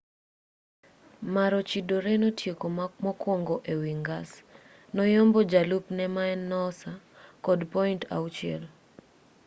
maroochydore notieko mokwongo ewi ngas noyombo jalupne maen noosa kod point auchiel